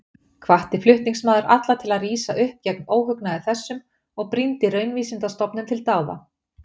Hvatti flutningsmaður alla til að rísa upp gegn óhugnaði þessum og brýndi Raunvísindastofnun til dáða.